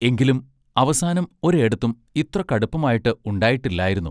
എങ്കിലും അവസാനം ഒരെടത്തും ഇത്ര കടുപ്പമായിട്ട് ഉണ്ടായിട്ടില്ലായിരുന്നു.